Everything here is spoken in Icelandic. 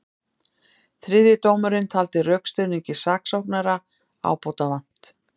Þriðji dómarinn taldi rökstuðningi saksóknara ábótavant